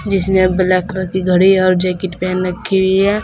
इसने black colour की घड़ी और जैकेट पहन रखी हुई है।